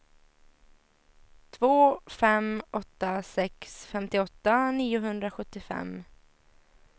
två fem åtta sex femtioåtta niohundrasjuttiofem